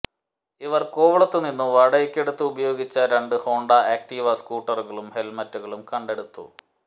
ഇവർ കോവളത്തുനിന്നു വാടകയ്ക്കെടുത്ത് ഉപയോഗിച്ച രണ്ട് ഹോണ്ട ആക്ടിവ സ്കൂട്ടറുകളും ഹെൽമെറ്റുകളും കണ്ടെടുത്തു